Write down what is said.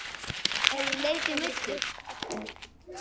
Hefurðu leikið meiddur?